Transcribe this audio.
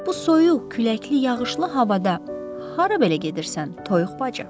Bu soyuq, küləkli, yağışlı havada hara belə gedirsən, toyuq bacı?